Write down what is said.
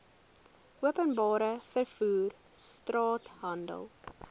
openbare vervoer straathandel